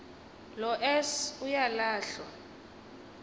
lo s uyalahlwa